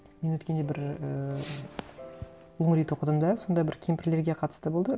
мен өткенде бір і лонгрид оқыдым да сонда бір кемпірлерге қатысты болды